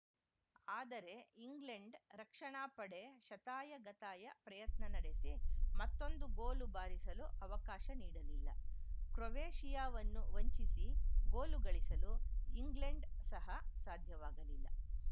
ಆದರೆ ಇಂಗ್ಲೆಂಡ್‌ ರಕ್ಷಣಾ ಪಡೆ ಶತಾಯ ಗತಾಯ ಪ್ರಯತ್ನ ನಡೆಸಿ ಮತ್ತೊಂದು ಗೋಲು ಬಾರಿಸಲು ಅವಕಾಶ ನೀಡಲಿಲ್ಲ ಕ್ರೊವೇಷಿಯಾವನ್ನು ವಂಚಿಸಿ ಗೋಲು ಗಳಿಸಲು ಇಂಗ್ಲೆಂಡ್‌ ಸಹ ಸಾಧ್ಯವಾಗಲಿಲ್ಲ